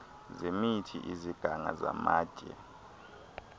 zemithi iziganga zamatye